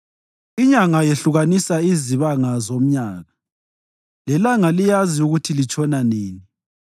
Inyanga yehlukanisa izibanga zomnyaka, lelanga liyazi ukuthi litshona nini.